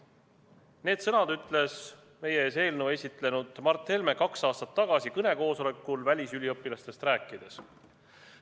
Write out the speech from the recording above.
" Need sõnad ütles meie ees praegu eelnõu esitlenud Mart Helme kaks aastat tagasi kõnekoosolekul välisüliõpilastest rääkides.